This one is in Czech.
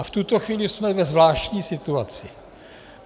A v tuto chvíli jsme ve zvláštní situaci.